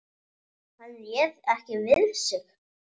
Hann réð ekki við sig.